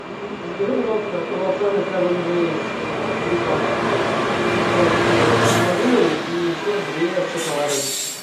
закажи пожалуйста круассаны севен дейз три пачки большие с малиной и еще две с шоколадом